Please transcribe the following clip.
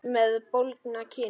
Með bólgna kinn.